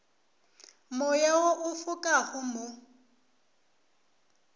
moya wo o fokago mo